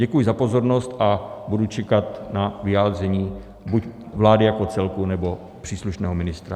Děkuji za pozornost a budu čekat na vyjádření buď vlády jako celku, nebo příslušného ministra.